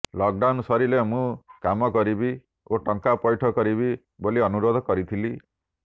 lockdown ସରିଲେ ମୁଁ କାମ କରିବି ଓ ଟଙ୍କା ପୈଠ କରିବି ବୋଲି ଅନୁରୋଧ କରିଥିଲି